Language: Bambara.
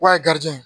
Wa garijigɛ